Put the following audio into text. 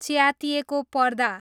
च्यातिएको पर्दा